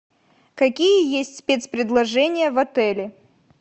какие есть спецпредложения в отеле